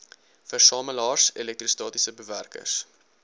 versamelaars elektrostatiese bewerkers